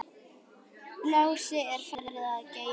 Lási er farinn að geyma.